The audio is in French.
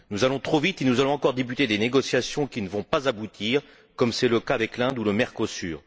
Nous allons trop vite et nous allons encore débuter des négociations qui ne vont pas aboutir, comme c'est le cas avec l'Inde ou le Mercosur.